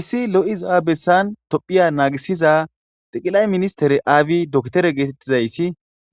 issi lo'iza bessan tophiya naagisiza xiqilay ministere aabi doktere geetettizayssi